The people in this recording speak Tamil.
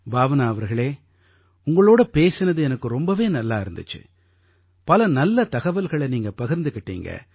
பாவ்னா அவர்களே உங்களோட பேசினது எனக்கு ரொம்பவே நல்லா இருந்திச்சு பல நல்ல தகவல்களை நீங்க பகிர்ந்துக்கிட்டீங்க